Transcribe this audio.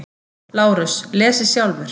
LÁRUS: Lesið sjálfur!